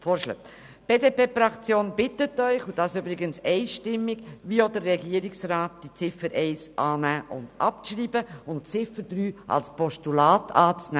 Die BDP-Fraktion bittet Sie einstimmig, dem Regierungsrat zu folgen und die Ziffer 1 anzunehmen und abzuschreiben sowie die Ziffer 3 als Postulat anzunehmen.